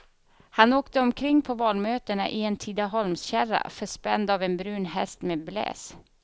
Han åkte omkring på valmötena i en tidaholmskärra förspänd av en brun häst med bläs.